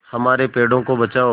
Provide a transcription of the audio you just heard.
हमारे पेड़ों को बचाओ